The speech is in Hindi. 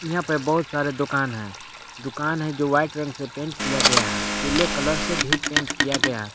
यहां पे बहुत सारे दुकान हैं दुकान हैं जो वाइट रंग से पेंट किया गया है पीले कलर से भी पेंट किया गया है।